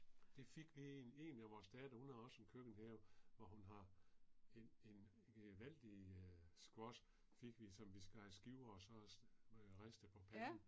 Det fik vi en en af vores datter, hun har også en køkkenhave hvor hun har en en gevaldig squash fik vi som vi skar i skiver og så ristede på panden